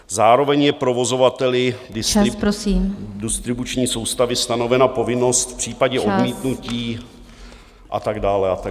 Zároveň je provozovateli distribuční soustavy stanovena povinnost v případě odmítnutí a tak dále a tak dále.